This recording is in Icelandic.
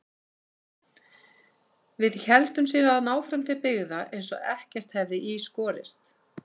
Við héldum síðan áfram til byggða eins og ekkert hefði í skorist.